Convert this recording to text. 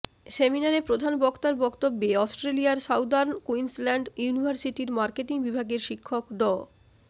সেমিনারে প্রধান বক্তার বক্তব্যে অস্ট্রেলিয়ার সাউদার্ন কুইন্সল্যান্ড ইউনিভার্সিটির মার্কেটিং বিভাগের শিক্ষক ড